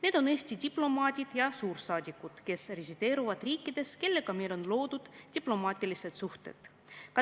Need on Eesti diplomaadid ja suursaadikud, kes resideerivad riikides, kellega meil on loodud diplomaatilised suhted.